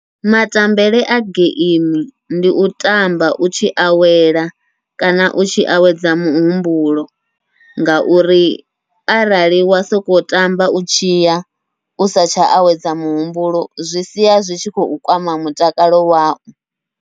Matambele a geimi ndi u tamba u tshi awela, kana u tshi awedza muhumbulo ngauri arali wa sokou tamba u tshiya usa tsha awedza muhumbulo, zwi sia zwi tshi khou kwama mutakalo wau.